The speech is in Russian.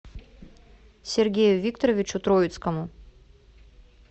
сергею викторовичу троицкому